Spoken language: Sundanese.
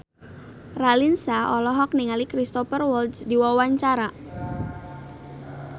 Raline Shah olohok ningali Cristhoper Waltz keur diwawancara